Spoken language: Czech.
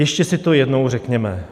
Ještě si to jednou řekněme.